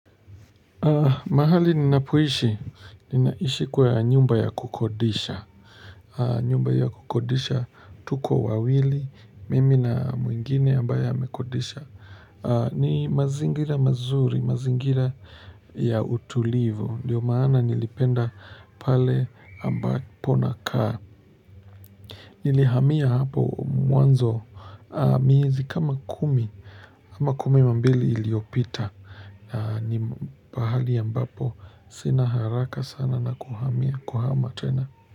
Mahali ninapoishi, ninaishi kwa nyumba ya kukodisha. Nyumba ya kukodisha tuko wawili, mimi na mwingine ambaye amekodisha. Ni mazingira mazuri, mazingira ya utulivu. Ndio maana nilipenda pale ambapo nakaa. Nilihamia hapo mwanzo miezi kama kumi, ama kumi na mbili iliyopita. Na ni pahali ambapo sina haraka sana na kuhamia kuhama tena.